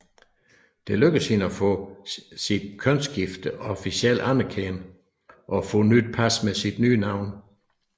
Det lykkedes hende at få sit kønsskifte officielt anerkendt og få nyt pas med sit nye navn